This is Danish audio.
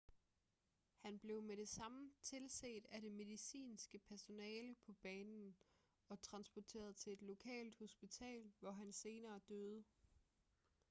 han blev med det samme tilset af det medicinske personale på banen og transporteret til et lokalt hospital hvor han senere døde